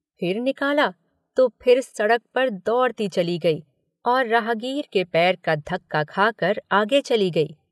फिर निकाला तो फिर सड़क पर दौड़ती चली गई और राहगीर के पैर का धक्का खाकर आगे चली गई।